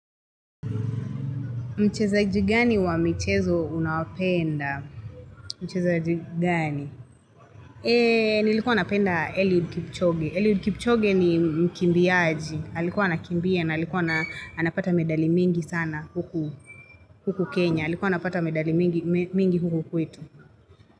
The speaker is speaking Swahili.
Mchezaji gani wa michezo unapenda? Mchezaji gani? Nilikuwa napenda Eliud Kipchoge. Eliud Kipchoge ni mkimbiaji. Alikuwa anakimbia na alikuwa anapata medali mingi sana huku, huku Kenya. Alikuwa anapata medali mingi huku kwetu.